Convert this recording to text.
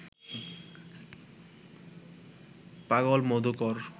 পাগল মধুকর